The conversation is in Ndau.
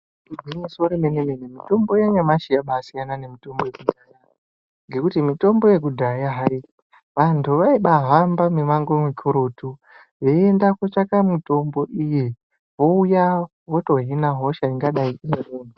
Igwinyiso remene mene mitombo yanyamashi yabai siyana nemitombo yekudhaya ngekuti mitombo yekudhaya hai vantu vaibai hamba mi mango mikurutu veyi enda kotsvaka mitombo iyi voouya votohina hosha ingadai ine muntu.